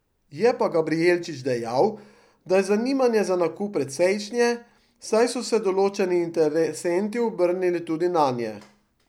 Je pa Gabrijelčič dejal, da je zanimanje za nakup precejšnje, saj so se določeni interesenti obrnili tudi nanje.